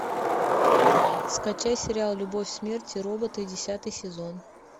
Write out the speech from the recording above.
скачай сериал любовь смерть и роботы десятый сезон